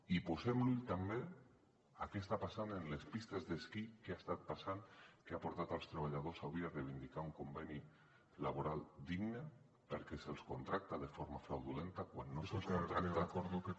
i posem l’ull també a què està passant en les pistes d’esquí què ha estat passant que ha portat els treballadors avui a reivindicar un conveni laboral digne perquè se’ls contracta de forma fraudulenta quan no se’ls contracta